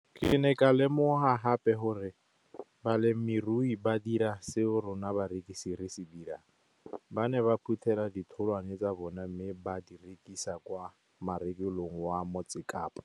Ke ne ka lemoga gape gore balemirui ba dira seo rona barekisi re se dirang, ba ne ba phuthela ditholwana tsa bona mme ba di rekisa kwa marakeng wa Motsekapa.